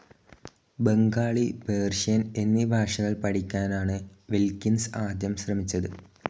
Bengali, Persian എന്നീ ഭാഷകൾ പഠിയ്ക്കാനാണ് വിൽക്കിൻസ് ആദ്യം ശ്രമിച്ചത്.